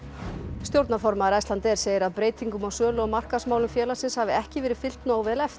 stjórnarformaður Icelandair segir að breytingum á sölu og markaðsmálum félagsins hafi ekki verið fylgt nógu vel eftir